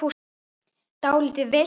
Dálítið villt!